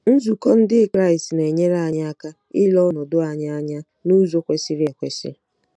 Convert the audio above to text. Nzukọ Ndị Kraịst na-enyere anyị aka ile ọnọdụ anyị anya n'ụzọ kwesịrị ekwesị.